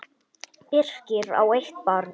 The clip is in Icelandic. Birkir á eitt barn.